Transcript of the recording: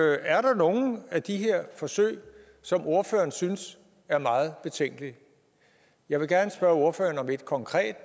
er der nogle af de her forsøg som ordføreren synes er meget betænkelige jeg vil gerne spørge ordføreren om et konkret